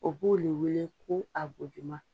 O b'o le weele ko